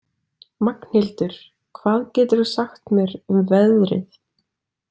Magnhildur, hvað geturðu sagt mér um veðrið?